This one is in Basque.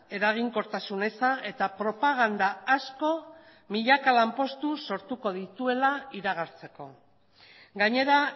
eraginkortasun eza eta propaganda asko milaka lanpostu sortuko dituela iragartzeko gainera